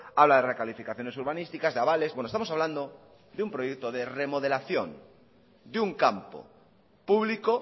habla de recalificaciones urbanísticas de avales bueno estamos hablando de un proyecto de remodelación de un campo público